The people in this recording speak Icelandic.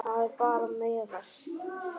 Það er bara meðal.